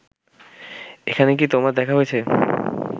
এখানে কি তোমার দেখা হয়েছে